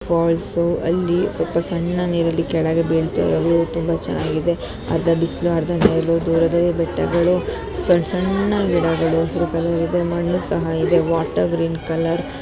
falls ಅಲ್ಲಿ ಸ್ವಲ್ಪ ಸಣ್ಣ ನೀರು ಕೆಳಗೇ ಬೀಳ್ತಾ ಇರೊದು ತುಂಬ ಚೆನ್ನಗಿದೆ ಅರ್ಧ ಬಿಸಲು ಅರ್ಧ ನೆರಳು ದೂರದಲ್ಲಿ ಬೆಟ್ಟಗಳು ಸಣ್ಣ ಸಣ್ಣ ಗಿಡಗಳೂ ಹಸಿರು ಕಲರ್ ಇದೆ ಮಣ್ಣು ಸಹಾ ಇದೆ ವಾಟೆರ್ ಗ್ರೀನ್ ಕಲರ್ --